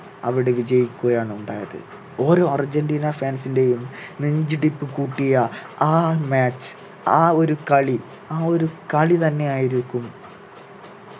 അവിടെ വിജയിക്കുകയാണ് ഉണ്ടായത് ഓരോ അർജന്റീന fans ൻ്റെയും നെഞ്ചിടിപ്പ് കൂട്ടിയ ആ match ആ ഒരു കളി ആ ഒരു കളി തന്നെയായിരിക്കും